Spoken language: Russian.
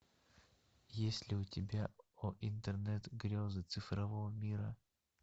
есть ли у тебя о интернет грезы цифрового мира